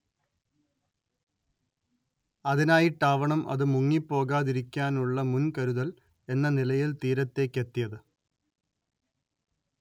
അതിനായിട്ടാവണം അത് മുങ്ങിപ്പോകാതിരിക്കാനുള്ള മുൻ‌കരുതൽ എന്ന നിലയിൽ തീരത്തേക്കെത്തിയത്